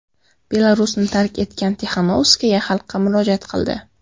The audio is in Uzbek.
Belarusni tark etgan Tixanovskaya xalqqa murojaat qildi.